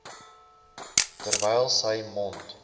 terwyl sy mond